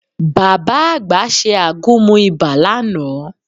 Bàbá àgbà ṣe àgúnmu ibà lánàá